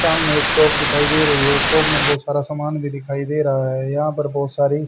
सामने एक शॉप दिखाई दे रही है शॉप में बहुत सारा सामान भी दिखाई दे रहा है यहां पर बहुत सारी--